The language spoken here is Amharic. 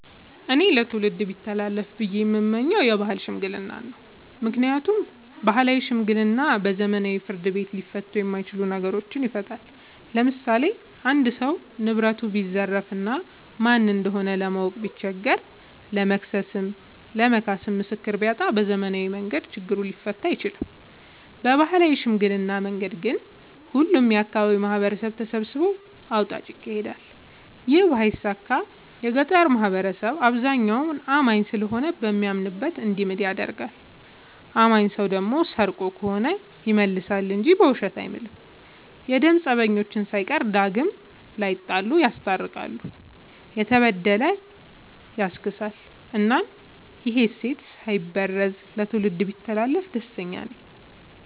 እኔ ለትውልድ ቢተላለፍ ብዬ የምመኘው የባህል ሽምግልና ነው። ምክንያቱም ባህላዊ ሽምግልና በዘመናዊ ፍርድ ቤት ሊፈቱ የማይችሉ ነገሮችን ይፈታል። ለምሳሌ አንድ ሰው ንብረቱን ቢዘረፍ እና ማን እንደሆነ ለማወቅ ቢቸገር ለመክሰስም ለመካስም ምስክር ቢያጣ በዘመናዊ መንገድ ችግሩ ሊፈታ አይችልም። በባህላዊ ሽምግልና መንገድ ግን ሁሉም የአካባቢው ማህበረሰብ ተሰብስቦ አውጣጭ ይካሄዳል ይህ ባይሳካ የገጠሩ ማህበረሰብ አብዛኛው አማኝ ስለሆነ በሚያምንበት እንዲምል ይደረጋል። አማኝ ሰው ደግሞ ሰርቆ ከሆነ ይመልሳ እንጂ በውሸት አይምልም። የደም ፀበኞችን ሳይቀር ዳግም ላይጣሉ ይስታርቃል፤ የተበደለ ያስክሳል እናም ይህ እሴት ሳይበረዝ ለትውልድ ቢተላለፍ ደስተኛ ነኝ።